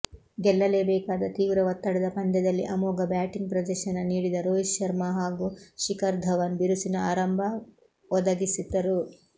ಗೆಲ್ಲಲೇಬೇಕಾದ ತೀವ್ರ ಒತ್ತಡದ ಪಂದ್ಯದಲ್ಲಿ ಅಮೋಘ ಬ್ಯಾಟಿಂಗ್ ಪ್ರದರ್ಶನ ನೀಡಿದ ರೋಹಿತ್ ಶರ್ಮಾ ಹಾಗೂ ಶಿಖರ್ ಧವನ್ ಬಿರುಸಿನ ಆರಂಭವೊದಗಿಸಿದರು